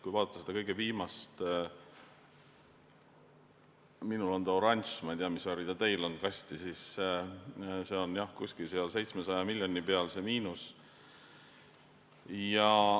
Kui vaadata seda kõige viimast kasti , siis kuskil 700 miljoni peal on see miinus.